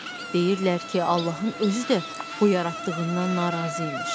Deyirlər ki, Allahın özü də bu yaratdığından narazı imiş.